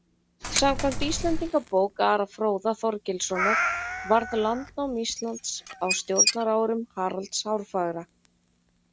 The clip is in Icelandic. Samkvæmt Íslendingabók Ara fróða Þorgilssonar varð landnám Íslands á stjórnarárum Haralds hárfagra.